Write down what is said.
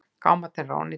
Gámarnir eru ónýtir.